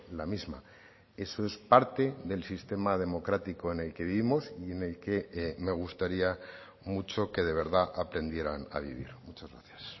la misma eso es parte del sistema democrático en el que vivimos y en el que me gustaría mucho que de verdad aprendieran a vivir muchas gracias